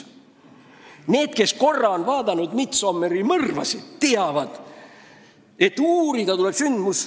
Need, kes on kas või korra vaadanud "Midsomeri mõrvasid", teavad, et sündmuspaika tuleb uurida kohe.